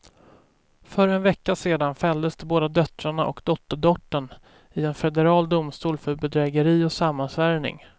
För en vecka sedan fälldes de båda döttrarna och dotterdottern i en federal domstol för bedrägeri och sammansvärjning.